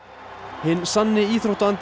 hinn sanni